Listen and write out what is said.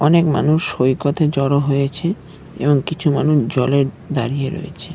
অনেক মানুষ সৈকতে জড়ো হয়েছে এবং কিছু মানুষ জলে দাঁড়িয়ে রয়েছে।